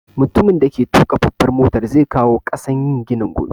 Mutumin da ke tuƙa babbar motar zai kawo ƙasan yin ginin gobe